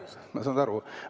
Ma saan nii aru.